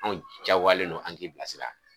Anw jaagoyalen no an k'i bila sira.